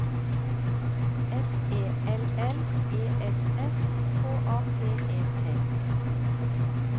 F E L L E S S K A P E T